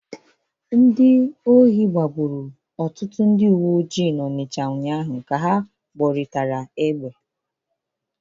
Ndị ohi gbagburu ọtụtụ ndị uwe ojii n'Ọnịcha ụnyaahụ ka ha gbọrịtara egbe.